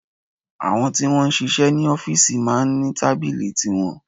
Àwọn tí wọ́n ń sisẹ́ ní ọ́fìsì máa ń ní tábìlì tiwọn